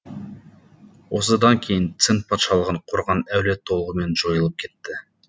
осыдан кейін цинь патшалығын құрған әулет толығымен жойылып кетті